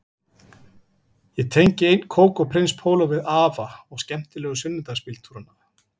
Ég tengi enn kók og prins póló við afa og skemmtilegu sunnudagsbíltúrana